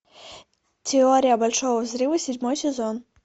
теория большого взрыва седьмой сезон